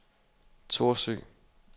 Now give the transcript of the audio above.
Thorsø